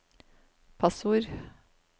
passord